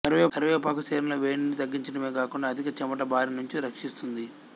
కరివేపాకు శరీరంలో వేడిని తగ్గించటమేగాకుండా అధిక చెమట బారినుంచి రక్షిస్తుంది